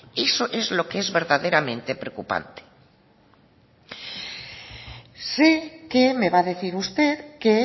eso es lo que es verdaderamente preocupante sé que me va a decir usted que